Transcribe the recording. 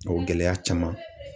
O gɛlɛya caman